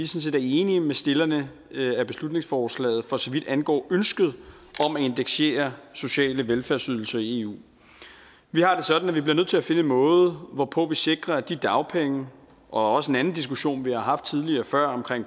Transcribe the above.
set er enige med stillerne af beslutningsforslaget for så vidt angår ønsket om at indeksere sociale velfærdsydelser i eu vi har det sådan at vi bliver nødt til at finde en måde hvorpå vi sikrer at de dagpenge og også en anden diskussion vi har haft tidligere